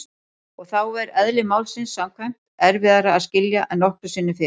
Og þá er- eðli málsins samkvæmt- erfiðara að skilja en nokkru sinni fyrr.